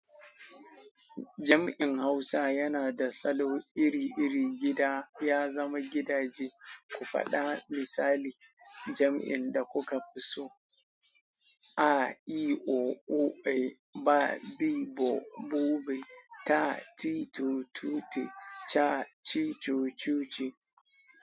Jam'in Hausa yana da salo iri-iri gida ya zama gidaje. Ku faɗa misali jam'in da kuka fi so. A I O U E ba bi bo bube, ta ti to tute, ca ci co cuce.